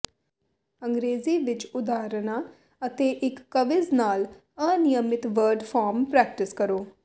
ਅੰਗਰੇਜ਼ੀ ਵਿਚ ਉਦਾਹਰਨਾਂ ਅਤੇ ਇਕ ਕਵਿਜ਼ ਨਾਲ ਅਨਿਯਮਿਤ ਵਰਡ ਫਾਰਮ ਪ੍ਰੈਕਟਿਸ ਕਰੋ